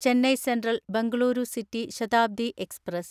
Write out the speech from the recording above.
Chennai central Bengaluru city Shatabdi express